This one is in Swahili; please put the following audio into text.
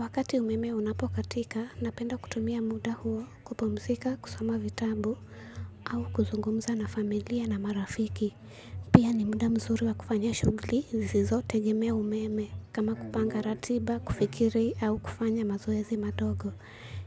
Wakati umeme unapokatika napenda kutumia muda huo kupumzika kusoma vitabu au kuzungumza na familia na marafiki. Pia ni muda mzuri wa kufanya shughuli zisizo tegemea umeme kama kupanga ratiba kufikiri au kufanya mazoezi madogo